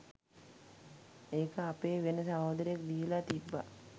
ඒක අපේ වෙන සහෝදරයෙක් දීලා තිබ්බා